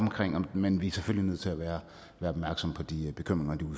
men vi er selvfølgelig nødt til at være opmærksomme på de bekymringer og